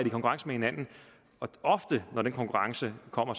i konkurrence med hinanden ofte når den konkurrence kommer